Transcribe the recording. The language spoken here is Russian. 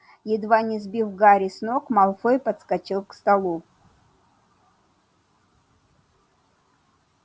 едва не сбив гарри с ног малфой подскочил к столу